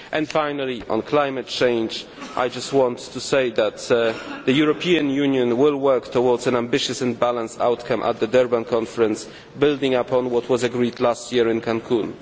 Finally on climate change, I just want to say that the European Union will work towards an ambitious and balanced outcome at the Durban conference, building up on what was agreed last year in Cancún.